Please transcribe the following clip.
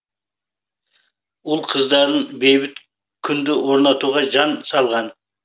ұл қыздарың бейбіт күнді орнатуға жан салған